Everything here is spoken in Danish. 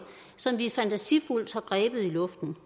som vi fantasifuldt har grebet i luften